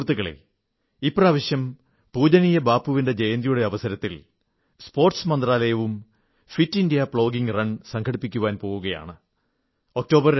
സഹൃത്തുക്കളേ ഇപ്രാവശ്യം പൂജനിയ ബാപ്പുവിന്റെ ജയന്തിയുടെ അവസരത്തിൽ സ്പോർട്സ് മന്ത്രാലയവും ഫിറ്റ് ഇന്ത്യാ പ്ലോഗിംഗ് റൺ സംഘടിപ്പിക്കാൻ പോകയാണ്